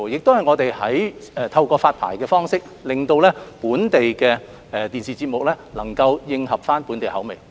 此外，我們亦透過發牌方式令本地電視節目能夠迎合本地口味。